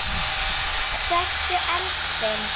Hversu eldfim?